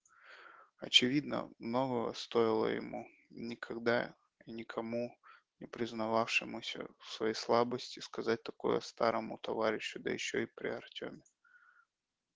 очевидно многого стоило ему никогда и никому не признававшемуся в своей слабости сказать такое старому товарищу да ещё и при артёме